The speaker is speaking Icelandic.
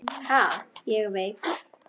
Ha, ég veikur!